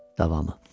Davamı.